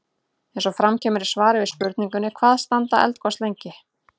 Eins og fram kemur í svari við spurningunni Hvað standa eldgos lengi?